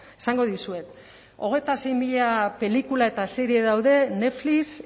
esango dizuet hogeita sei mila pelikula eta serie daude netflix